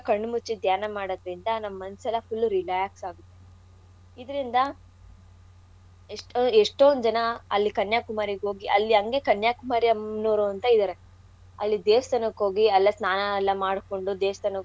ಕಣ್ ಮುಚ್ಚಿ ದ್ಯಾನ ಮಾಡೋದ್ರಿಂದ ನಮ್ಮ್ ಮನ್ಸೆಲ್ಲಾ full relax ಆಗುತ್ತೆ. ಇದ್ರಿಂದ ಎಷ್ಟೋ~ ಎಷ್ಟೋಂದ್ ಜನ ಅಲ್ಲಿ ಕನ್ಯಾಕುಮಾರಿಗೋಗಿ ಅಲ್ಲಿ ಅಂಗೆ ಕನ್ಯಾಕುಮಾರಿ ಆಮ್ನೋರು ಅಂತ ಇದಾರೆ ಅಲ್ಲಿ ದೇವ್ಸ್ಥಾನಕ್ ಹೋಗಿ ಅಲ್ಲೇ ಸ್ನಾನ ಎಲ್ಲಾ ಮಾಡ್ಕೊಂಡು ದೇವ್ಸ್ಥಾನಕ್ ಹೋಗಿ.